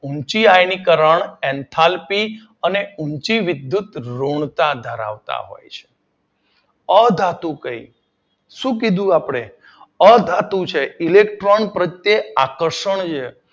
ઊંચી આયનીકરણ એન્થાલ્પી ઊંચી વિદ્યુત ઋણતા ધરાવતા હોય છે. અધાતુ કહી શું કીધું આપડે? અધાતુ છે ઇલેક્ટ્રોન પ્રત્યે આકર્ષણ છે.